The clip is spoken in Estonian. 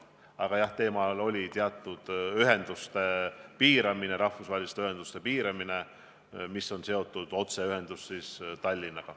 Küll aga oli teemaks teatud ühenduste piiramine, rahvusvaheliste ühenduste piiramine, mis puudutab otseühendust Tallinnaga.